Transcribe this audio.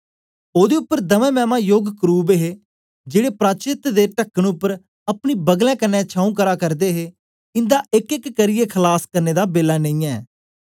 ओदे उपर दमै मैमा योग करुब हे जेड़े प्राचेत्त दे टकन उपर अपनी बगलें क्न्ने छाऊं करा करदे हे इंदा एकएक करियै खलास करने दा बेला नेई ऐ